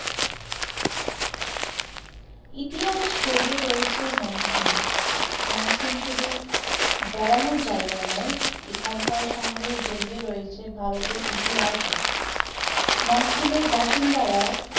ইতিহাস ছড়িয়ে রয়েছে মঙ্কিমে, মঙ্কিম শুধুই বেড়ানোর জায়গা নয় এখানকার সাথে জড়িয়ে রয়েছে ভারতের ইতিহাস ও